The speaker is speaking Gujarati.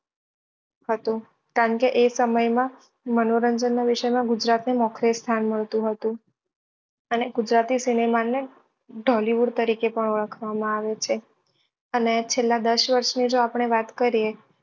હતું કારણ કે એ સમય માં મનોરંજન નાં વિષય માં ગુજરાત ને મોખરે સ્થાન મળતું હતું અને ગુજરાતી સિનેમા ને તરીકે પણ ઓળખવા માં આવે છે